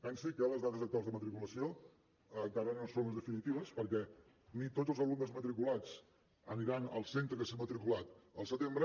pensi que les dades actuals de matriculació encara no són les definitives perquè ni tots els alumnes matriculats aniran al centre que s’ha matriculat al setembre